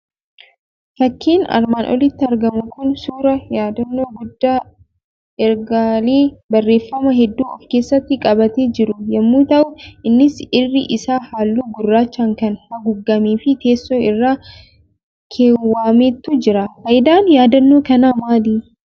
Fakkiin armaan olitti argamu Kun, suuraa yaadannoo guddaa, ergaalee barreeffamaa hedduu of keessatti qabatee jiru yemmuu ta'u, innis irri isaa halluu gurrachaan kan haguugamee fi teessoo irra keewwameetu jira. Fayidaan yaadannoo kana maali?